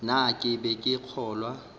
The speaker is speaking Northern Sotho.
na ke be ke kgolwa